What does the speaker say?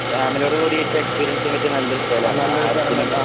ഫാമിലിറയോട് കൂടീട്ടെക്സ്പീരിയൻസിയാൻ പറ്റിയ നല്ലൊരു സ്ഥലാണ് ആയിര്ത്തിനും